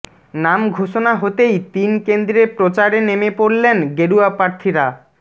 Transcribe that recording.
নাম ঘোষণা হতেই তিন কেন্দ্রে প্রচারে নেমে পড়লেন গেরুয়া প্রার্থীরা